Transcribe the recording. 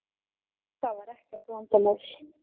Það var ekkert vandamál.